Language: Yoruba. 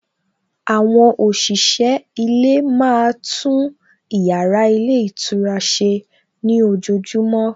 Àwọn òṣìṣẹ́ ilé máa tún ìyára ilé ìtura ṣe ní ojojúmọ́